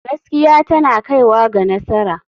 Gaskiya tana kaiwa ga nasara.